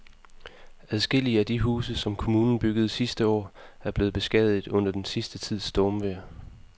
Adskillige af de huse, som kommunen byggede sidste år, er blevet beskadiget under den sidste tids stormvejr.